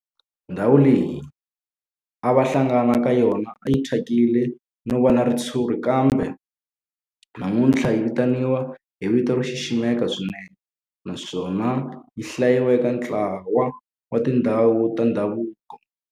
Ndhawu leyi a va hlangana ka yona a yi thyakile no va na ritshuri kambe namuntlha yi vitaniwa hi vito ro xiximeka swinene naswona yi hlayiwa eka ntlawa wa tindhawu ta ndhavuko.